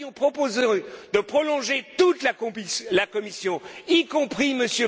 autre chose. Nous avions proposé de prolonger toute la Commission,